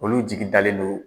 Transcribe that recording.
Olu jigi dalen don